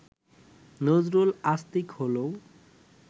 নজরুল আস্তিক হলেও